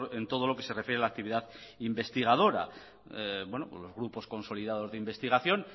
en todo lo que se refiere a la actividad investigadora pues los grupos consolidados de investigación